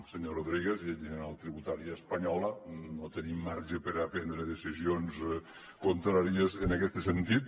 senyor rodríguez llei general tributària espanyola no tenim marge per a prendre decisions contràries en aquest sentit